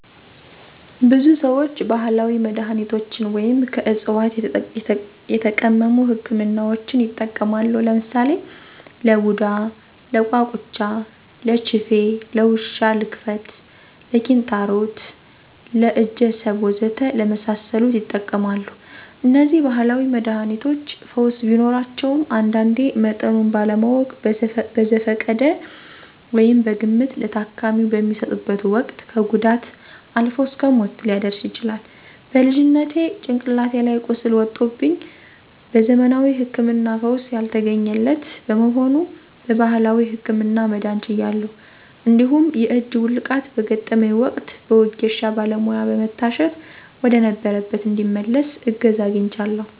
ብዙ ሰዎች ባህላዊ መድሃኒቶችን ወይም ከዕፅዋት የተቀመሙ ህክምናዎችን ይጠቀማሉ። ለምሳሌ ለቡዳ፣ ለቋቁቻ፣ ለችፌ፣ ለውሻ ልክፍት፣ ለኪንታሮት፣ ለእጀሰብ ወዘተ ለመሳሰሉት ይጠቀማሉ። እነዚህ ባህላዊ መድሃኒቶች ፈውስ ቢኖራቸውም አንዳንዴ መጠኑን ባለማወቅ በዘፈቀደ (በግምት) ለታካሚው በሚሰጡበት ወቅት ከጉዳት አልፎ እስከ ሞት ሊያደርስ ይችላል። በልጅነቴ ጭንቅላቴ ላይ ቁስል ወጦብኝ በዘመናዊ ህክምና ፈውስ ያልተገኘለት በመሆኑ በባህላዊው ህክምና መዳን ችያለሁ። እንዲሁም የእጅ ውልቃት በገጠመኝ ወቅት በወጌሻ ባለሙያ በመታሸት ወደነበረበት እንዲመለስ እገዛ አግኝቻለሁ።